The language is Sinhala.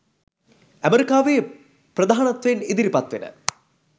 ඇමරිකාවේ ප්‍රධානත්වයෙන් ඉදිරිපත් වෙන